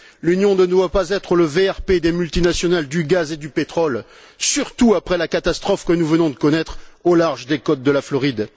L'Union ne doit pas être le VRP des multinationales du gaz et du pétrole, surtout après la catastrophe que nous venons de connaître au large des côtes de la Floride.